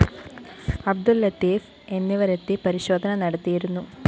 അബ്ദുള്‍ ലത്തീഫ് എന്നിവരെത്തി പരിശോധന നടത്തിയിരുന്നു